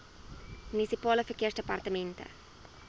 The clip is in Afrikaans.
munisipale verkeersdepartemente